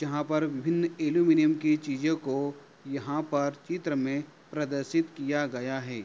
यहाँ पर भिन्न एल्युमीनियम की चीज़ों को यहाँ पर चित्र में प्रदर्शित किया गया है।